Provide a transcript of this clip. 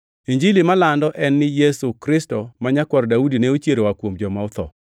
Injili malando en ni Yesu Kristo ma Nyakwar Daudi ne ochier oa kuom joma otho.